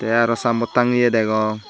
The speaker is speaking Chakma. tey aro saamboad tangeye degong.